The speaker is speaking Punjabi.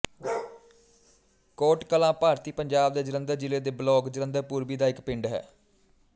ਕੋਟ ਕਲਾਂ ਭਾਰਤੀ ਪੰਜਾਬ ਦੇ ਜਲੰਧਰ ਜ਼ਿਲ੍ਹੇ ਦੇ ਬਲਾਕ ਜਲੰਧਰ ਪੂਰਬੀ ਦਾ ਇੱਕ ਪਿੰਡ ਹੈ